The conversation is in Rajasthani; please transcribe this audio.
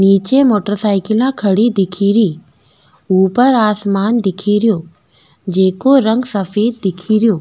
निचे मोटर साइकिल खड़ी दिखेरी ऊपर आसमान दिख रो जिको रंग सफ़ेद दिखेरो।